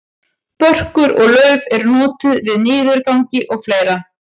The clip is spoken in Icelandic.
börkur og lauf eru notuð við niðurgangi og fleira